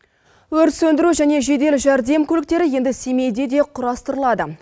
өрт сөндіру және жедел жәрдем көліктері енді семейде де құрастырылады